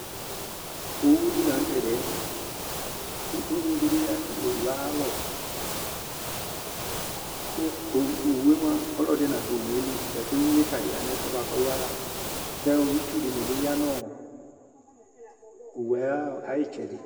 qqqqQqqqqqqqqqqqqqOwʊ di la nutɛdiɛ ku ʊɣŋɩ dibi ya nu owʊe ayalɔ ku owue mua ɔlɔdɩ nadʊ ayilɩ Ʊɣŋɩ ta ƴa ŋɛfʊɛ ɓʊzƙʊ ɔƴa la kʊ ɩtsʊ dini bi ƴa nu owʊe aƴɩtsɛdɩ